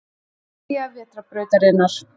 Miðja vetrarbrautarinnar.